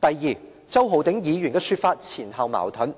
第二，周浩鼎議員的說法前後矛盾，